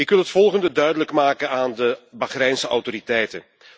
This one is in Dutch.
Ik wil het volgende duidelijk maken aan de Bahreinse autoriteiten.